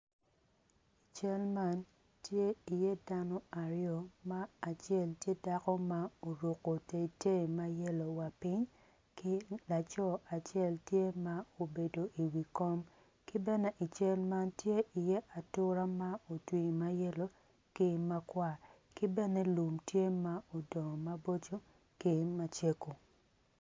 Cal man tye iye dano aryo ma acel tye dano ma oruko tetei ma yelo wa piny ki laco acel tye ma obedo iwi kom ki bene i cal man tye iye atura ma otwi ma yelo ki makwar ki bene lum tye ma odongo maboco ki macego.